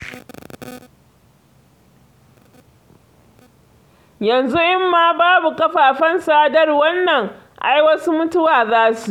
Yanzu in ma babu kafafen sadarwar nan, ai wasu mutuwa za su yi.